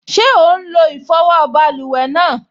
Ṣé ó n lo ìfọwọ́ báluwẹ̀ náà?